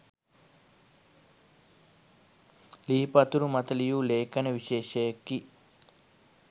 ලී පතුරු මත ලියූ ලේඛන විශේෂයකි.